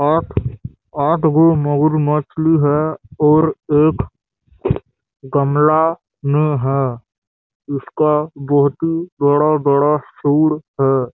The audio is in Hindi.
आठ आठ गु मोंगरी मछली है और एक गमला में है उसका बहोत ही बड़ा-बड़ा हैं।